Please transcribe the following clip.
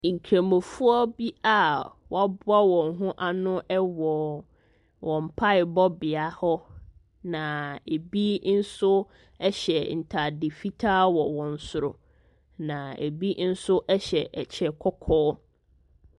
Nkramofoɔ bi a wɔaboa wɔn ho ano wɔ wɔn mpaebɔbea hɔ. Na ɛbi nso hyɛ ntade fitaa wɔ wɔn soro. Na ɛbi nso hyɛ ɛkyɛ kɔkɔɔ.